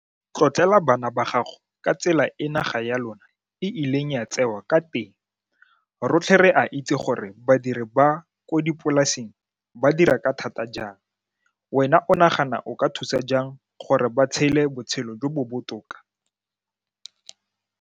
Tlotlela bana ba gago ka tsela e naga ya lona e ileng ya tsewa ka teng, rotlhe re a itse gore badiri ba ko dipolaseng ba dira ka thata jang. Wena o nagana o ka thusa jang gore ba tshele botshelo jo bo botoka?